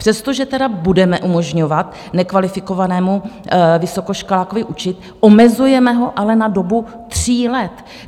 Přestože tedy budeme umožňovat nekvalifikovanému vysokoškolákovi učit, omezujeme ho ale na dobu tří let.